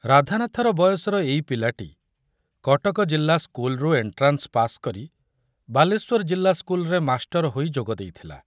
ରାଧାନାଥର ବୟସର ଏଇ ପିଲାଟି କଟକ ଜିଲ୍ଲା ସ୍କୁଲରୁ ଏଣ୍ଟ୍ରାନ୍ସ ପାସ କରି ବାଲେଶ୍ୱର ଜିଲ୍ଲା ସ୍କୁଲରେ ମାଷ୍ଟର ହୋଇ ଯୋଗ ଦେଇଥିଲା।